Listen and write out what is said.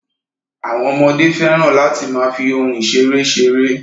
Àwọn ọmọdé fẹ́ràn láti máa fi ohun ìṣeré ṣeré.